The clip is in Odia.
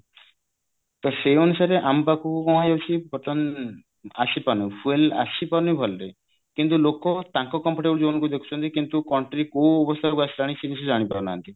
ତ ସେଇ ଅନୁସାରେ ଆମ ପାଖକୁ କଣ ହଉଛି ବର୍ତ୍ତମାନ ଆସିପାରୁନି fuel ଆସିପାରୁନି ଭଲରେ କିନ୍ତୁ ଲୋକ ତାଙ୍କ comfortable zone କୁ ଦେଖୁଛନ୍ତି କିନ୍ତୁ country କୋଉ ଅବସ୍ଥାକୁ ଆସିଲାଣି ସେ କିଛି ଜାଣିପାରୁନାହାନ୍ତି